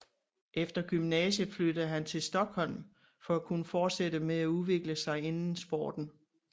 Efter gymnasiet flyttede han til Stockholm for at kunne fortsætte med at udvikle sig inden sporten